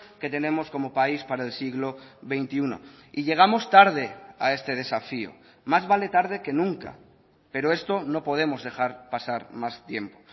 que tenemos como país para el siglo veintiuno y llegamos tarde a este desafío más vale tarde que nunca pero esto no podemos dejar pasar más tiempo